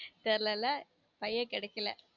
தெரில ல பையன் கெடைக்கல